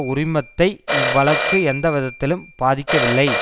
உரிமத்தை இவ் வழக்கு எந்த விதத்திலும் பாதிக்கவில்லை